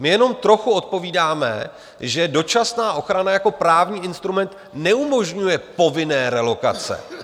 My jenom trochu odpovídáme, že dočasná ochrana jako právní instrument neumožňuje povinné relokace.